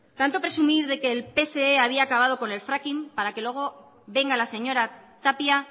tanto presumir de que el pse había acabado con el fracking para que luego venga la señora tapia